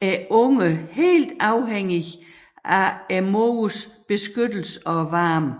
er ungerne helt afhængige af moderens beskyttelse og varme